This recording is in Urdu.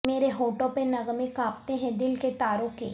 مرے ہونٹوں پہ نغمے کانپتے ہیں دل کے تاروں کے